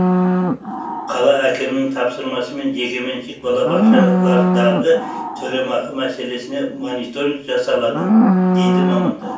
қала әкімінің тапсырмасымен жекеменшік балабақшалардағы төлемақы мәселесіне мониторинг жасалады дейді мамандар